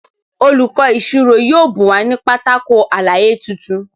Olùkó ìṣirò yóò bùn wa ní Pátákó àlàyé títún.